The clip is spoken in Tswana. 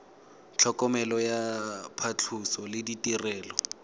tlhokomelo ya phatlhoso le ditirelo